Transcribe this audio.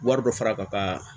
Wari dɔ fara ka